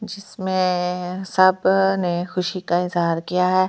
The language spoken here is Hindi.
जिसमे ए ए ए सब अ अ अ ने खुशी का इज़हार किया है ।